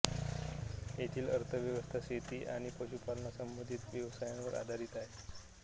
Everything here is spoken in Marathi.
येथील अर्थव्यवस्था शेती आणि पशुपालनसंबंधित व्यवसायांवर आधारित आहे